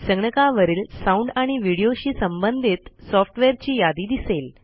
संगणकावरील साउंड आणि Videoशी संबंधित सॉफ्टवेअरची यादी दिसेल